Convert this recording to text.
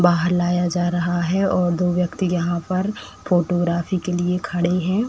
बाहर लाया जा रहा है और दो व्यक्ति यहाँ पर फोटोग्राफी के लिए खड़े हैं।